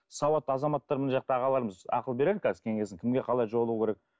сауатты азаматтар мына жақта ағаларымыз ақыл берер қазір кеңесін кімге қалай жолығу керек